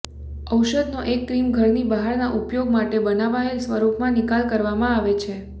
ઔષધનો એક ક્રીમ ઘરની બહારના ઉપયોગ માટે બનાવાયેલ સ્વરૂપમાં નિકાલ કરવામાં આવે છે